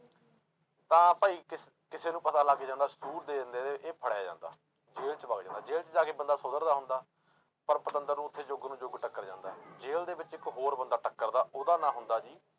ਤਾਂ ਭਾਈ ਕਿਸ ਕਿਸੇ ਨੂੰ ਪਤਾ ਲੱਗ ਜਾਂਦਾ ਦੇ ਦਿੰਦੇ ਆ ਇਹਦੇ ਇਹ ਫੜਿਆ ਜਾਂਦਾ, ਜੇਲ 'ਚ ਵਗ ਜਾਂਦਾ, ਜੇਲ 'ਚ ਜਾ ਕੇ ਬੰਦਾ ਸੁਧਰਦਾ ਹੁੰਦਾ, ਪਰ ਪਤੰਦਰ ਨੂੰ ਉੱਥੇ ਜੁਗ ਨੂੰ ਜੁਗ ਟੱਕਰ ਜਾਂਦਾ, ਜੇਲ ਦੇ ਵਿੱਚ ਇੱਕ ਹੋਰ ਬੰਦਾ ਟੱਕਰਦਾ ਉਹਦਾ ਨਾਂ ਹੁੰਦਾ ਜੀ,